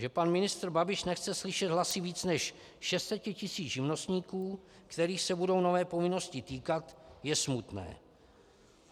Že pan ministr Babiš nechce slyšet hlasy více než 600 tisíc živnostníků, kterých se budou nové povinnosti týkat, je smutné.